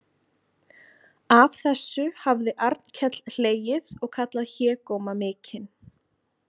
Að þessu hafði Arnkell hlegið og kallað hégóma mikinn.